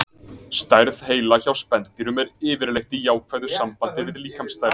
Stærð heila hjá spendýrum er yfirleitt í jákvæðu sambandi við líkamsstærð.